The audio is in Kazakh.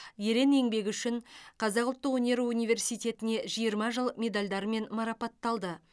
ерен еңбегі үшін қазақ ұлттық өнер университетіне жиырма жыл медальдарымен марапатталды